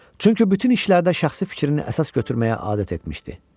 Çünki bütün işlərdə şəxsi fikrini əsas götürməyə adət etmişdi.